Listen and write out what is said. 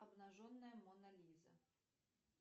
обнаженная мона лиза